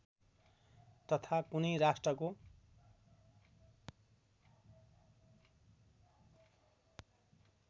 तथा कुनै राष्ट्रको